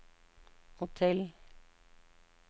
hotell